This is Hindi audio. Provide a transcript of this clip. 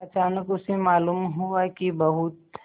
अचानक उसे मालूम हुआ कि बहुत